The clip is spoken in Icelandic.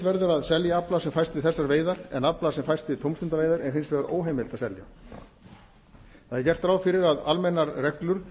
verður að selja afla sem fæst af þessum veiðar en afla sem fæst við tómstundaveiðar er hins vegar óheimilt að selja það er gert ráð fyrir að almennar reglur